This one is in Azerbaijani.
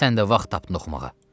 Sən də vaxt tap oxumağa.